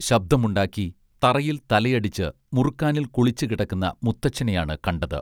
ശബ്ദമുണ്ടാക്കി തറയിൽ തലയടിച്ച് മുറുക്കാനിൽ കുളിച്ച് കിടക്കുന്ന മുത്തച്ഛനെയാണ് കണ്ടത്